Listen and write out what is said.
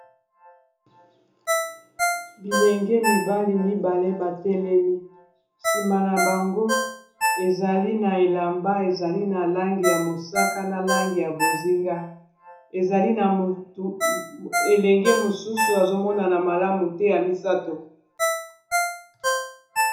bilenge mibali mibale batelemi nsima na bango ezali na elamba ezali na langi ya mosaka na langi ya bozinga ezali elenge mosusu azomonana malamu te ya misato